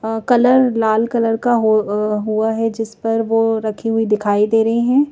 Colour लाल colour का हो हुआ है जिस पर वो रखी हुई दिखाई दे रही हैं।